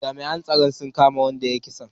Jami'in tsaro sun kama wanda ya yi kisan